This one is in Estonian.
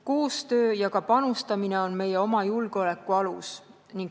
Koostöö ja ka panustamine on meie oma julgeoleku alus.